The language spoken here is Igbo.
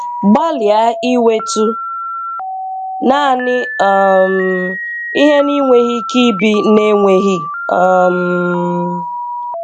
Gbalịa iwetu naanị um ihe ị na-enweghị ike ibi na-enweghị. um